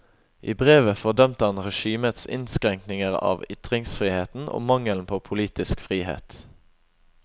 I brevet fordømte han regimets innskrenkinger av ytringsfriheten og mangelen på politisk frihet.